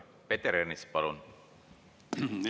Peeter Ernits, palun!